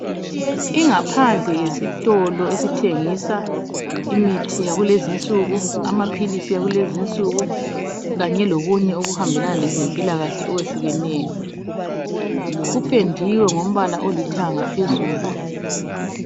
Ingaphandle yesitolo esithengisa imithi yakulezi insuku, amaphilisi akulezi insuku kanye lokunye okuhambelana lezempilakahle okwehlukeneyo. Kupendiwe ngombala olithanga phezulu.